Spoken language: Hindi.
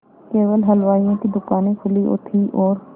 केवल हलवाइयों की दूकानें खुली थी और